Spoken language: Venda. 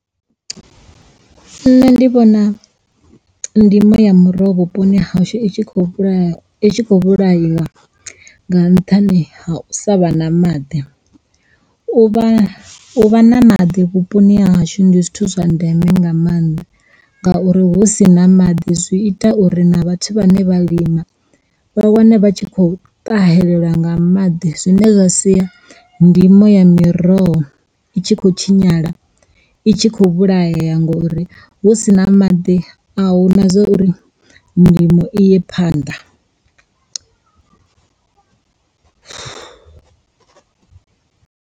Nṋe ndi vhona ndimo ya miroho vhuponi hashu itshi kho i tshi kho vhulaiwa nga nṱhani ha u sa vha na maḓi. U vha u vha na maḓi vhuponi ha hashu ndi zwithu zwa ndeme nga mannḓa ngauri hu si na maḓi zwi ita uri na vhathu vhane vha lima vha wane vha tshi kho ṱahela nga maḓi zwine zwa sia ndimo ya miroho i tshi khou tshinyala itshi kho vhulaya ngori hu sina maḓi a hu na zwa uri ndimo iye phanḓa.